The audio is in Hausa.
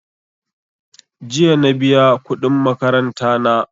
Jiya na biya kuɗin makaranta na.